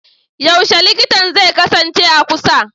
Yaushe likitan zai kasance a kusa?